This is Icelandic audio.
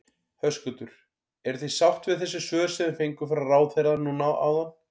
Höskuldur: Eruð þið sátt við þessi svör sem þið fenguð frá ráðherra núna áðan?